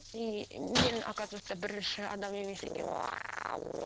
и мен оказывается бірінші адам емес екенмін